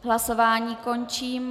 Hlasování končím.